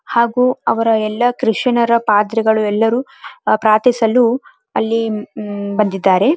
ಹಾಗು ಅವರ ಕ್ರಿಶ್ಚಿಯ ನ್ರ ಪಾದ್ರಿಗಳು ಎಲ್ಲರೂ ಪ್ರಾರ್ಥಿಸಲು ಅಲ್ಲಿ ಬಂದಿದ್ದಾರೆ .